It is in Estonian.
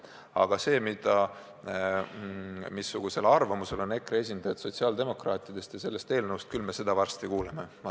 Aga seda, missugusel arvamusel on EKRE esindajad sotsiaaldemokraatidest ja sellest eelnõust, me varsti kuuleme.